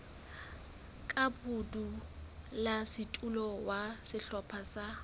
ka modulasetulo wa sehlopha sa